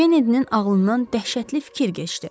Kennedinin ağlından dəhşətli fikir keçdi.